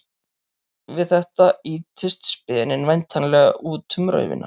Við þetta ýtist speninn væntanlega út um raufina.